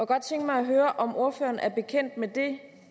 godt tænke mig at høre om ordføreren er bekendt med det